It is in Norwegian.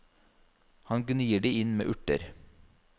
Han gnir det inn med urter.